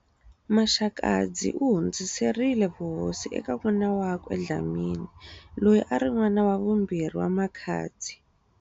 Maxakadzi u hundziserile vuhosi eka n'wana wakwe Dlhamani, loyi a ri n'wana wa vumbirhi wa Maxakadzi.